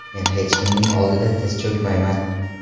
Men hech kimning oldida tiz cho‘kmayman.